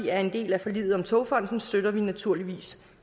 er en del af forliget om togfonden dk støtter vi naturligvis